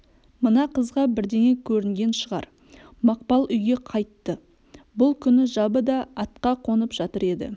мына қызға бірдеңе көрінген шығар мақпал үйге қайтты бұл күні жабы да атқа қонып жатыр еді